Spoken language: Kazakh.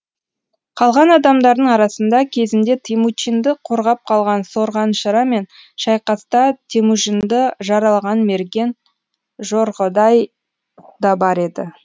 қалған адамдардың арасында кезінде темучинды қорғап қалған сорғаншыра мен шайқаста темүжінді жаралаған мерген жорғодай да бар еді